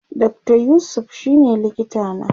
Dr yusuf shine likita na